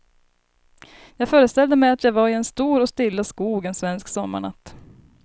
Jag föreställde mig att jag var i en stor och stilla skog en svensk sommarnatt.